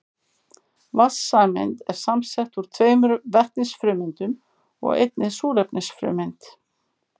Vatnssameind eru samsett úr tveimur vetnisfrumeindum og einni súrefnisfrumeind.